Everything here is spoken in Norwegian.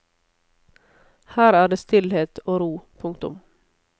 Her er det stillhet og ro. punktum